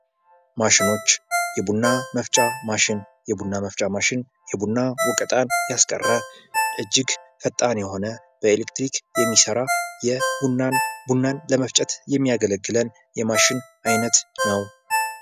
ማሸኖች የቡና መፍጫ ማሽን የቡና መፍጫ ማሽን ቡና ወቀጣን ያስቀረ እጅግ ፈጣን የሆነ በኤሌክትሪክ የሚሠራ ቡናን ለመፍጨት የሚያገለግል የማሽን ዓይነት ነው።